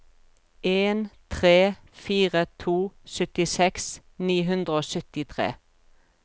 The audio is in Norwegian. en tre fire to syttiseks ni hundre og syttitre